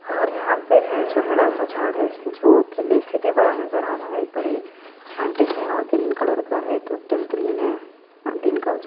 और यहाँ पे है जो बड़ा सा झाड़ है जो किले से भी बड़ा नज़र आ रहा है बड़े खांटे हैंऔर ग्रीन कलर का है टोटल ग्रीन है दिन का--